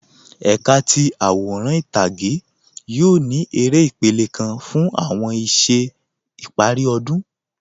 Ẹkà ti aworan itage yoo ni èrè ìpèlẹ̀ kan fun awọn iṣẹ̀ ìpari ọdun.